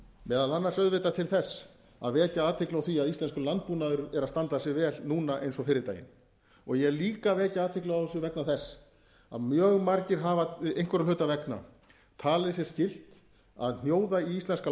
meðal annars auðvitað til þess að vekja athygli á því að íslenskur landbúnaður er að standa sig vel núna eins og fyrri daginn ég er líka að vekja athygli á þessu vegna þess að mjög lagi hafa einhverra hluta vegna talið sér skylt að hnjóða í íslenskan